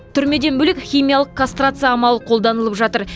түрмеден бөлек химиялық кастрация амалы қолданылып жатыр